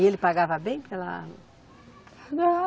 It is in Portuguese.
E ele pagava bem pela. Não